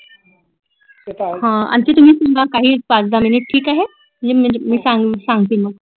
हां आज्जी तुम्ही सुद्धा काही पाच दहा मिनिट ठीक आहै म्हणजे मी सांगतील मग